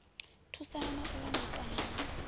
thusana na u londotana na